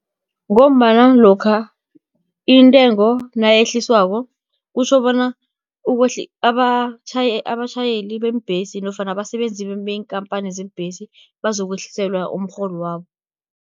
Ngombana lokha intengo nayehliswako, kutjhobona abatjhayeli beembhesi, nofana abasebenzi beenkampani zeembhesi, bazokwehliselwa umrholo wabo.